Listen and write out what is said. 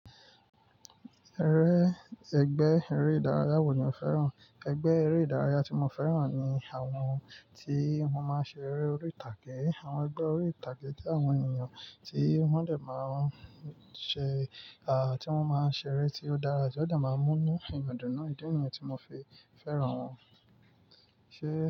Ẹ́rẹ́, ẹgbẹ́ eré ìdárayá wo ni o fẹ́ràn? Ẹgbẹ́ eré ìdárayá tí mo fẹ́ràn ni àwọn tí wọ́n máa ń ṣe eré orí ìtàgé. Àwọn ẹgbẹ́ orí ìtàgé jẹ́ àwọn ènìyàn tí wọ́n dẹ̀ máa ń ṣe, à, tí wọ́n máa ń ṣe eré tí ó dára, tí ó dẹ̀ máa ń mú inú ènìyàn dún, idi nìyẹn tí mo fi fẹ́ràn wọn. Ṣé.